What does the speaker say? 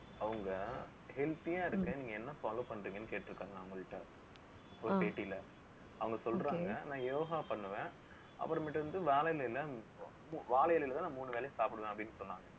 அவங்க healthy ஆ இருக்கு. நீங்க என்ன follow பண்றீங்கன்னு கேட்டிருக்காங்க அவங்கள்ட்ட ஒரு பேட்டியில, அவங்க சொல்றாங்க நான் யோகா பண்ணுவேன். அப்பறம்மேட்டு வந்து வாழை இலையில வாழை இலையிலதான், நான் மூணு வேளையும் சாப்பிடுவேன் அப்படின்னு சொன்னாங்க